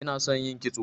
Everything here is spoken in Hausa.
inason yin kitso